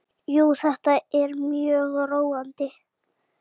Jú, þetta er mjög róandi.